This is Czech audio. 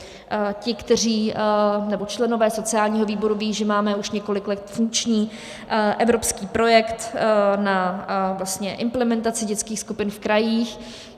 Členové sociálního výboru vědí, že máme už několik let funkční evropský projekt na implementaci dětských skupin v krajích.